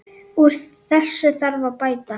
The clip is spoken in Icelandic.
Úr þessu þarf að bæta!